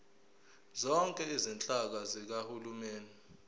zonke izinhlaka zikahulumeni